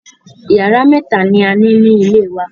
Yàrá mẹ́ta ni a ní ní ilé wa.